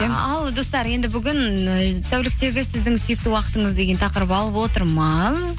ал достар енді бүгін і тәуліктегі сіздің сүйікті уақытыңыз деген тақырып алып отырмыз